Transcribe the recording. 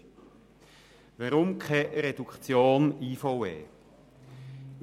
Weshalb bin ich gegen eine Reduktion der IVE?